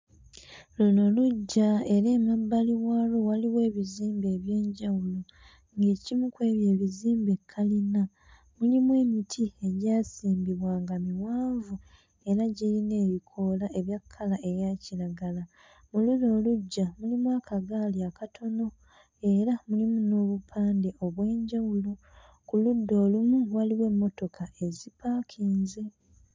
Luno luggya era emabbali waalwo waliwo ebizimbe eby'enjawulo ng'ekimu kw'ebyo ebizimbe kalina mulimu emiti egyasimbibwa nga miwanvu era giyina ebikoola ebya kkala eya kiragala. Mu luno luggya mulimu akagaali akatono era mulimu n'obupande obw'enjawulo ku ludda olumu waliwo emmotoka ezipaakinze.